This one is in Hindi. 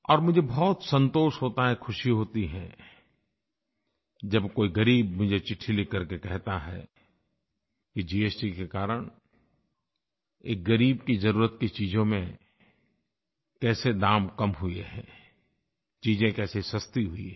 और मुझे बहुत संतोष होता है खुशी होती है जब कोई ग़रीब मुझे चिट्ठी लिख करके कहता है कि जीएसटी के कारण एक ग़रीब की ज़रुरत की चीज़ों में कैसे दाम कम हुए हैं चीज़ें कैसे सस्ती हुई हैं